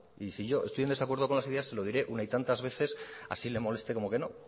y si yo estoy en desacuerdo con las ideas se lo diré una y tantas veces así le moleste como que no